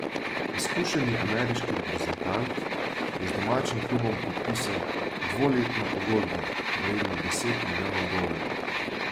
Izkušeni ameriški reprezentant je z domačim klubom podpisal dvoletno pogodbo, vredno deset milijonov dolarjev.